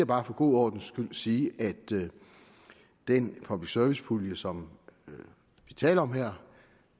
bare for god ordens skyld sige at den public service pulje som vi taler om her